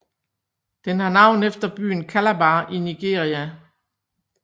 Den har navn efter byen Calabar i Nigeria